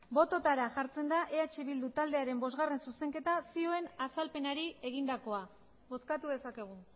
botoetara jartzen da eh bildu taldearen bosgarren zuzenketa zioen azalpenari egindakoa bozkatu dezakegu